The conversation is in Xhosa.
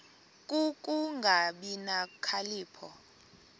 ku kungabi nokhalipho